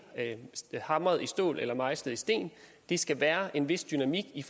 er hamret i stål eller mejslet i sten der skal være en vis dynamik i